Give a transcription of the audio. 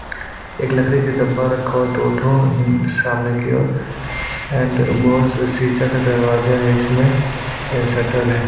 एक लकड़ी का डब्बा रखा हुआ है दो ठो सामने की और एंड बहुत सीसा का दरवाजा है इसमें शटर है।